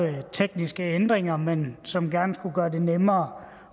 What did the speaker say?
tekniske ændringer men som gerne skulle gøre det nemmere